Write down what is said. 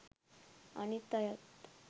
අනිත් අයත්